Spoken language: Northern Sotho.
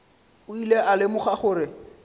o ile a lemoga gore